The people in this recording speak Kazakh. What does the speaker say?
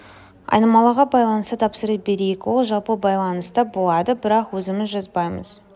айнымалыға байланысты тапсырыс берейік ол жалпы байланыста болады бірақ өзіміз жазбаймыз